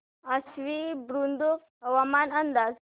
आश्वी बुद्रुक हवामान अंदाज